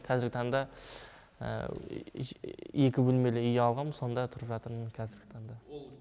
қазіргі таңда екі бөлмелі үй алғам сонда тұрып жатырмын қазіргі таңда